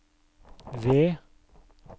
ved